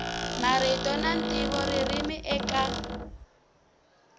marito na ntivo ririmi eka